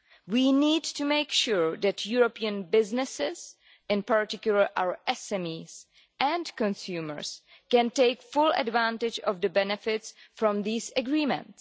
We need to make sure that European businesses in particular our SMEs and consumers can take full advantage of the benefits from these agreements.